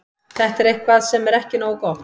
Þetta er eitthvað sem er ekki nógu gott.